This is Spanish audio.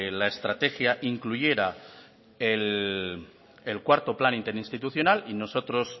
la estrategia incluyera el cuarto plan interinstitucional y nosotros